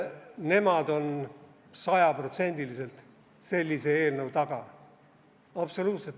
Nemad on sajaprotsendiliselt sellise eelnõu taga, absoluutselt.